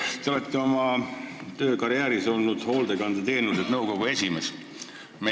Te olete oma töökarjääri jooksul olnud AS-i Hoolekandeteenused nõukogu esimees.